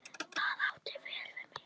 Það átti vel við mig.